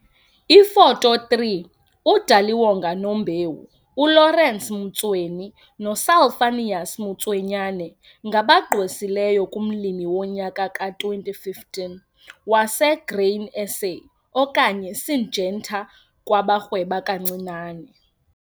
Ifoto 3 - uDaliwonga Nombewu, uLawrence Mtsweni noSalphanius Motswenyane ngabagqwesileyo kuMlimi woNyaka ka-2015 waseGrain SA okanye iSyngenta kwabaRhweba kaNcinane.